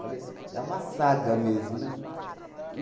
Falei, é uma saga mesmo, né?